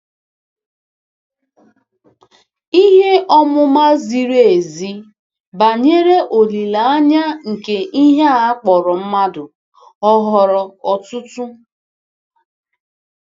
Ihe ọmụma ziri ezi banyere olileanya nke ihe a kpọrọ mmadụ ọ ghọrọ ọtụtụ?